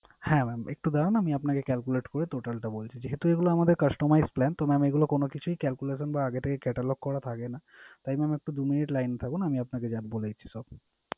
হ্যাঁ mam একটু দাঁড়ান আমি আপনাকে calculate করে total টা বলছি। যেহেতু এগুলা আমাদের customize plan তো mam এগুলো কোন কিছুই calculation বা আগে থেকে catalogue করা থাকে না। তাই একটু দু minute line এ থাকুন আমি আপনাকে বলে দিচ্ছি সব।